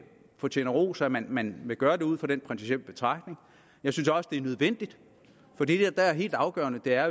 fortjener ros at man man vil gøre det ud fra den principielle betragtning jeg synes også det er nødvendigt for det der er helt afgørende er